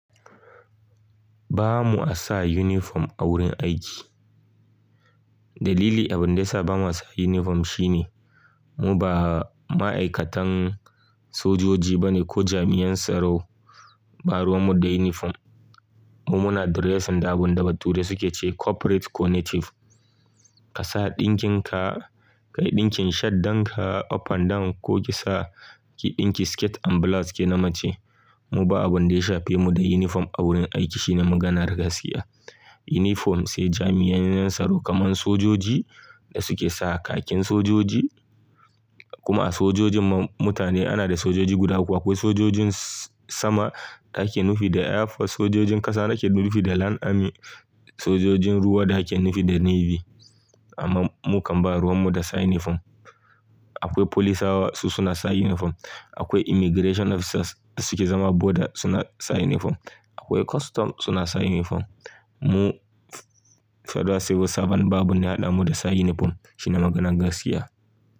Ba mua sa uniform a wurin aiki. Dalili abin da yasa ba mu sa uniform shine mu ba ma'aikatan sojoji ba ne ko jami'an tsaro, ba ruwan mu da uniform. Mu muna da dressing da abin da bature suke ce corporate ko native. Ka sa ɗinkin ka, ka yi ɗinkin shaddan ka up and down ko ki sa ki ɗinki skirt and blouse ke na mace. Mu ba abin da ya shafe mu da uniform a wurin aiki shine maganar gaskiya. Uniform sai jami'an yanatsaro kamar sojoji da suke sa kakin sojoji. Kuma a sojojin mutane ana da sojoji guda uku. Akwai sojojin sama da ake nufi da air force, sojojin ƙasa da ake nufi da land army, sojojin ruwa da ake nufi da navy. Amma mu kam ba ruwan mu da sa uniform. Akwai polisawa su suna sa uniform. Akwai immigration officers da suke zama border suna sa uniform. Akwai custom suna sa uniform. Mu federal civil servant ba abun da ya hadamu da sa uniform shine maganan gaskiya.